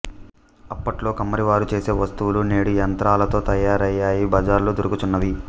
అప్పట్లో కమ్మరి వారు చేసె వస్తువులు నేడు యంత్రాలతో తయారయి బజారులలో దొరుకుచున్నవి